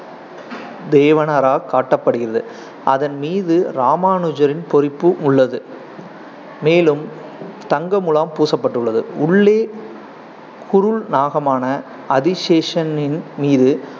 காட்டப்படுகிறது, அதன் மீது ராமானுஜரின் பொறிப்பு உள்ளது மேலும் தங்க முலாம் பூசப்பட்டுள்ளது. உள்ளே குருள் நாகமான அதிசேஷனின் மீது